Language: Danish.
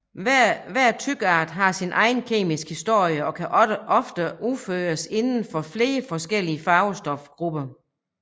Hver trykart har sin egen kemiske historie og kan ofte udføres inden for flere forskellige farvestofgrupper